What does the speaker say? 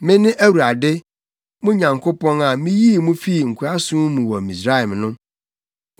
“Mene Awurade, mo Nyankopɔn, a miyii mo fii nkoasom mu wɔ Misraim no.